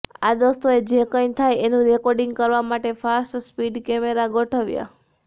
આ દોસ્તોએ જે કંઈ થાય એનું રેર્કોિંડગ કરવા માટે ફાસ્ટ સ્પીડ કેમેરા ગોઠવ્યા